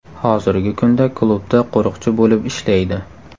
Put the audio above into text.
Hozirgi kunda klubda qo‘riqchi bo‘lib ishlaydi.